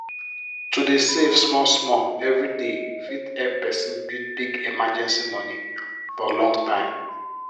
to dey save small small every day fit help person build big emergency moni for long time